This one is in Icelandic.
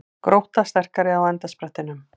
Grótta sterkari á endasprettinum